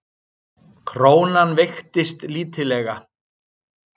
Krónan veikist lítillega